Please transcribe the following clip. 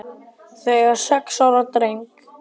Þau eiga sex ára dreng